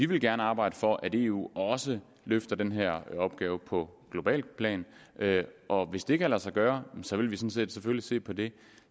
vil arbejde for at eu også løfter den her opgave på globalt plan og hvis det kan lade sig gøre vil vi selvfølgelig se på det